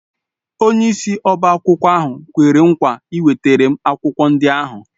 Onyeisi ọbá akwụkwọ ahụ kwere nkwa ịwetara m akwụkwọ ndị ahụ